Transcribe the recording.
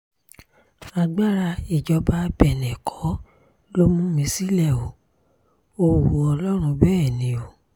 agbára ìjọba bẹ́nẹ́ kọ́ ló mú mi sílẹ̀ o ò wu ọlọ́run ọba bẹ́ẹ̀ ni o